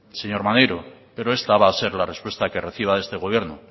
señor maneiro pero esta va a ser la respuesta que reciba de este gobierno